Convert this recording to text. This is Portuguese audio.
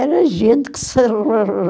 Era gente que se